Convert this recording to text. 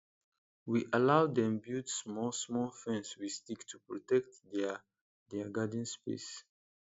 we allow dem build small small fence with stick to protect their their garden space